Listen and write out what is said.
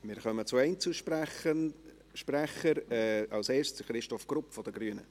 Wir kommen zu den Einzelsprechern, zuerst zu Christoph Grupp von den Grünen.